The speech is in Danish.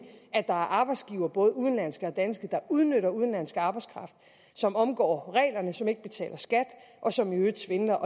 er arbejdsgivere både udenlandske og danske der udnytter udenlandsk arbejdskraft som omgår reglerne som ikke betaler skat og som i øvrigt svindler